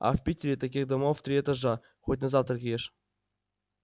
а в питере таких домов в три этажа хоть на завтрак ешь